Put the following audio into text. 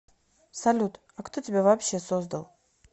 салют а кто тебя вообще создал